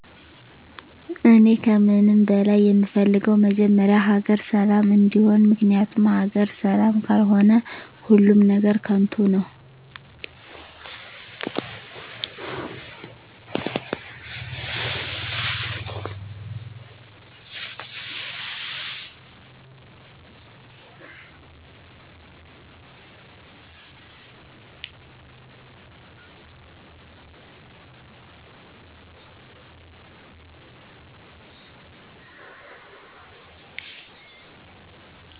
እኔ ከምንም በላይ የምፈልገው መጀመሪያ ሀገር ሰላም እንዲሆን ምክንያቱም ሀገር ሰላም ካልሆነ ሁሉም ነገር ከንቱ ነው